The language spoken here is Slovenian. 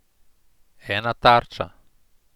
Ena tarča.